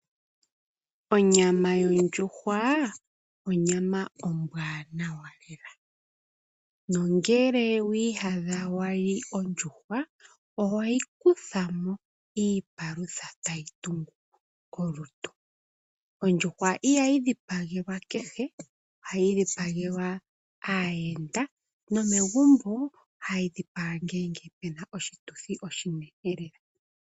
Onyama yondjuhwa, onyama ombwaanawa lela. Nongele wi iyadha wa li ondjuhwa oto kutha mo iipalutha tayi tungu kolutu. Ondjuhwa ihayi dhipagelwa kehe, ohayi dhipagelwa aayenda nomegumbo ohayi dhipagwa ngele pu na oshituthi oshinene lela.